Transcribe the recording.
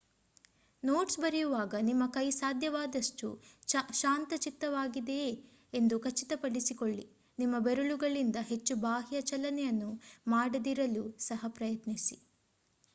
notes ಬರೆಯುವಾಗ ನಿಮ್ಮ ಕೈ ಸಾಧ್ಯವಾದಷ್ಟು ಶಾಂತಚಿತ್ತವಾಗಿದೆಯೇ ಎಂದು ಖಚಿತಪಡಿಸಿಕೊಳ್ಳಿ ನಿಮ್ಮ ಬೆರಳುಗಳಿಂದ ಹೆಚ್ಚು ಬಾಹ್ಯ ಚಲನೆಯನ್ನು ಮಾಡದಿರಲು ಸಹ ಪ್ರಯತ್ನಿಸಿ